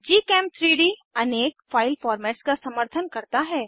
gchem3डी अनेक file formats का समर्थन करता है